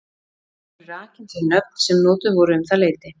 Þar eru rakin þau nöfn sem notuð voru um það leyti.